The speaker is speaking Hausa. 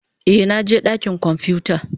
Eh, na je dakin kwamfuta.